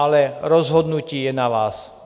Ale rozhodnutí je na vás.